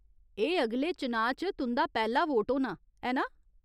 एह् अगले चुनांऽ च तुं'दा पैह्‌ला वोट होना, ऐ ना ?